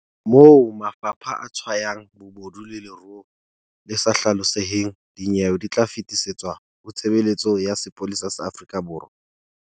Moo mafapha a tshwayang bobodu le leruo le sa hlaloseheng, dinyewe di tla fetisetswa ho Tshebeletso ya Sepolesa sa Afrika Borwa.